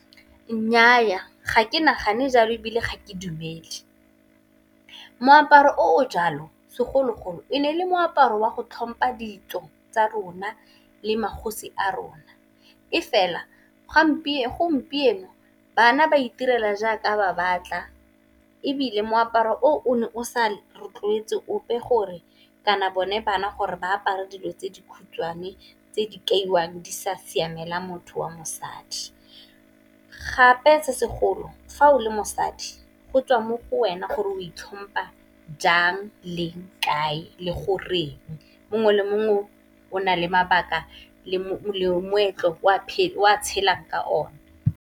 Nnyaa, ga ke nagane jalo ebile ga ke dumele, moaparo o jalo segologolo e ne le moaparo wa go tlhompa ditso tsa rona le magosi a rona, e fela gompieno bana ba itirela jaaka ba batla ebile moaparo o o ne o sa rotloetse ope gore kana bone bana gore ba apara dilo tse di khutshwane tse di kaiwang di sa siamela motho wa mosadi. Gape sa segolo fa o le mosadi go tswa mo go wena gore o itlhompa jang, leng, kae le gore mongwe le mongwe o nale mabaka le moetlo o a tshelang ka o ne.